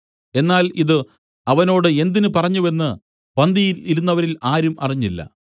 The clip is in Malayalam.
എന്നാൽ ഇതു അവനോട് എന്തിന് പറഞ്ഞുവെന്ന് പന്തിയിൽ ഇരുന്നവരിൽ ആരും അറിഞ്ഞില്ല